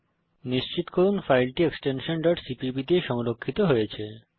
নিশ্চিত করুন যে ফাইলটি এক্সটেনশন cpp দিয়ে সংরক্ষিত হয়েছে